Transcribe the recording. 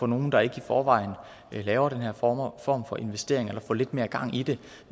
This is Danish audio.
nogle der ikke i forvejen laver den her form form for investering eller får lidt mere gang i det